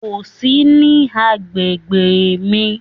Kò sí ní agbègbè mí.